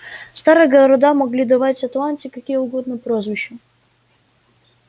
старые города могли давать атланте какие угодно прозвища